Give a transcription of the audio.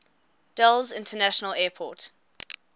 dulles international airport